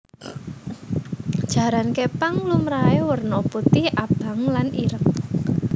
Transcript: Jaran képang lumrahé warna putih abang lan ireng